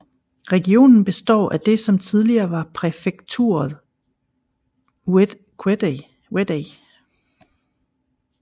Regionen består af det som tidligere var præfekturet Ouaddaï